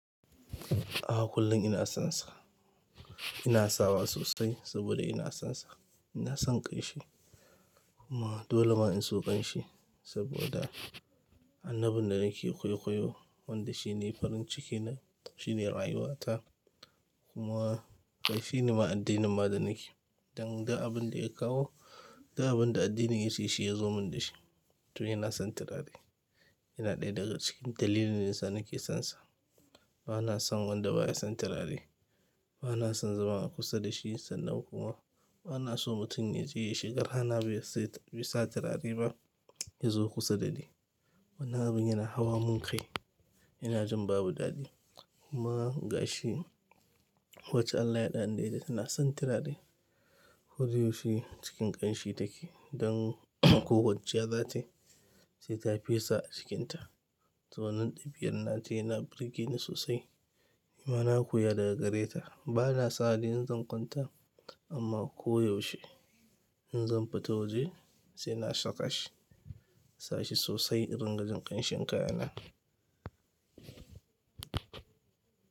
Aha kullum ina sonsa. Ina sawa sosai saboda ina sonsa, ina son ƙanshi kuma dole ma in so ƙanshi saboda annabin da nake kwaikwayo wanda shine farin cikina, shine rayuwata kuma ƙai shine ma addinin ma da nake. Dan ga abin da ya kawo, du abin da addinin yace shi ya zo mun da shi. To ina son tirare yana ɗaya daga cikin dalilin da yasa nake sonsa. Bana son wanda baya son tirare bana son zama a kusa da shi sannan kuma bana so mutum ya je ya shiga rana bai sa tirare ba ya zo kusa da ni. Wannan abun yana hawa mun ƙai. Ina jin babu daɗi kuma ga shi wacce Allah ya haɗa ni da ita tana son tiradi. Ko da yaushe cikin ƙanshi take don ko kwanciya zatai sai ta fesa a jikinta. To wannan dabi'ar na ta yana birge ni sosai. Nima na koya daga gare ta. Bana sawa de in zan kanta amma ko yaushe in zan fita waje sai na saka shi. Na sa shi sosai in ringa jin ƙanshin kaya na.